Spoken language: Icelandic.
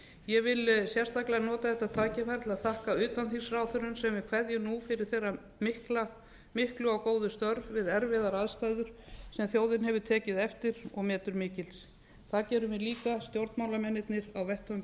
ég vil sérstaklega nota þetta tækifæri til að þakka utanþingsráðherrum sem við kveðjum nú fyrir þeirra miklu og góðu störf við erfiðar aðstæður sem þjóðin hefur tekið eftir og metur mikils það gerum við líka stjórnmálamennirnir á vettvangi